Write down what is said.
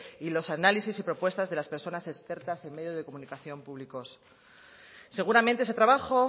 y los análisis y propuestas de las personas expertas en medio de comunicación públicos seguramente ese trabajo